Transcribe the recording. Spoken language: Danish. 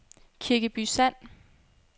Kirkeby Sand